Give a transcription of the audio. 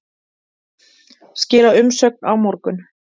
Skila umsögn á morgun